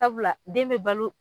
Sabula den be balo